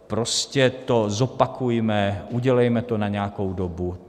Prostě to zopakujme, udělejme to na nějakou dobu.